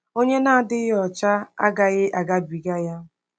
Onye Na-adịghị Ọcha Agaghị Agabiga Ya